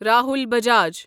Rahul Bajaj